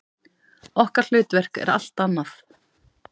Okkar hlutverk er allt annað.